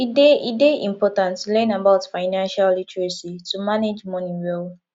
e dey e dey important to learn about financial literacy to manage money well